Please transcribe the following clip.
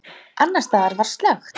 Annars staðar var slökkt.